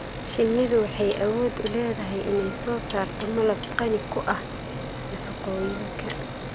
Shinnidu waxay awood u leedahay inay soo saarto malab qani ku ah nafaqooyinka.